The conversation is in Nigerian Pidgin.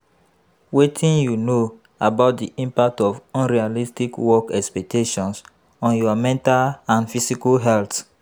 Wetin you know about di impact of unrealistic work expectations on your mental and physical health?